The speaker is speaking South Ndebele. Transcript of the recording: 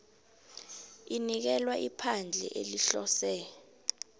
inikelwa iphandle elihlose